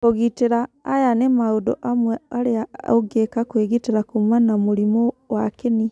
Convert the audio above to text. Kũgitĩra:aya nĩ maũndũ amwe arĩa ũngĩka kwĩgitĩra kuuma na mũrimũ wa kĩni.